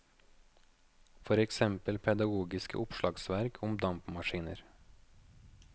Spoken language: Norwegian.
For eksempel pedagogiske oppslagsverk om dampmaskiner.